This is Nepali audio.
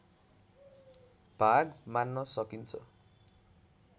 भाग मान्न सकिन्छ